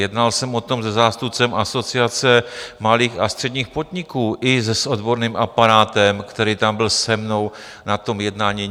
Jednal jsem o tom se zástupcem Asociace malých a středních podniků i s odborným aparátem, který tam byl se mnou na tom jednání.